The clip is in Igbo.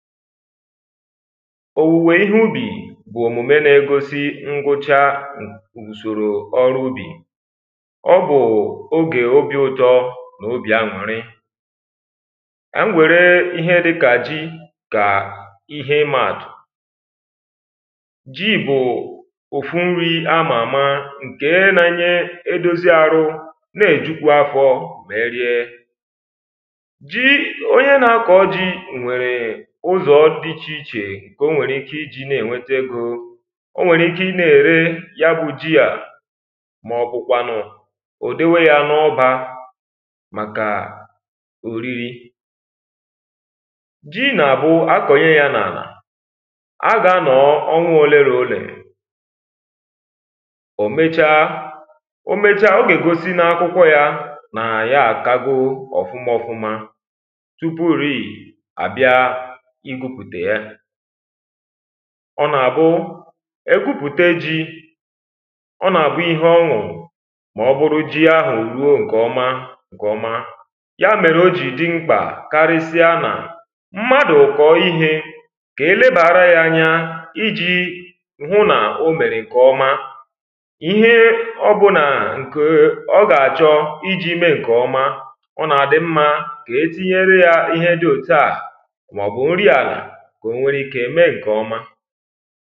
òwùwè ihe ubì bụ̀ òmùme n’egosi nkwụcha ùsòrò ọrụ ubì ọ bụ̀ ogè obi̇ ụtọ n’obì añụ̀rị m wẹ̀rẹ ihe dịkà ji kà ihe ịmàdụ̀ ji bụ̀ òfu nri àmàma nke naanyị edozi arụ̇ nà-ejùkwu afọ mà rie ǹkè o nwèrè ike iji̇ na-ènwete egȯ o nwèrè ike ị na-ère ya bụ̇ ji à maọ̀bụ̀kwànụ̀ ùdewe yȧ n’ọbȧ màkà òriri ji nà àbụ́ akọ̀nyè ya n’àlà agà anọọ ọnwụ òlelo ólèrù ò mechaa o mechaa o gà ègosi n’akwụkwọ yȧ nà ya àkago ọ̀fụma ọ̀fụma ọ nà-àbụ ekwupùte ji ọ nà-àbụ ihe ọṅụ̀ mà ọ bụrụ ji ahụ̀ ruo ǹkẹ̀ ọma ǹkẹ̀ ọma ya mèrè o jì di mkpà karịsịa nà mmadụ̀ kọ̀ọ ihe kà e lebàra ya anya iji hụ nà o mèrè ǹkẹ̀ ọma ihe ọbụlà ǹkè ọ gà-àchọ iji̇ mee ǹkè ọma ọ nà-àdị mmȧ kà e tinyere ya ihe dị òtuà kwẹ̀ nwere ike ịmẹ nke ọma